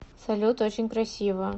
салют очень красиво